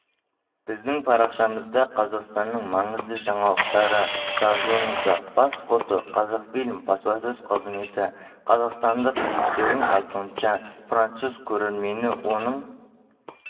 біздің парақшамызда қазақстанның маңызды жаңалықтары жазылыңыздар бас фото қазақфильм баспасөз қызметі қазақстандықрежиссердің айтуынша француз көрермені оның